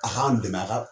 A k'an dɛmɛ a ka